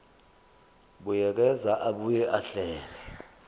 buyekeza abuye ahlele